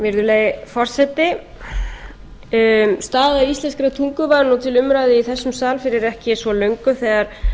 virðulegi forseti staða íslenskrar tungu var til umræðu í þessum sal fyrir ekki svo löngu þegar